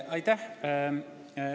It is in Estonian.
Aitäh!